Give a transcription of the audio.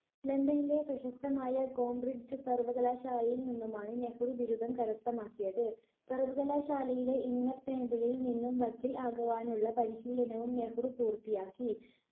ലണ്ടനിലെ പ്രശസ്തമായ കോംബ്രിഡ്ജ് സർവ്വകലാശാലയിൽ നിന്നുമാണ് നെഹ്‌റു ബിരുദം കരസ്ഥമാക്കിയത്. സർവ്വകലാശാലയിലെ ഇന്നത്തെ angle ൽ നിന്നും വക്കീൽ ആകുവാനുള്ള പരിശീലനവും നെഹ്‌റു പൂർത്തിയാക്കി